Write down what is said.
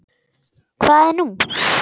Hvað er nú?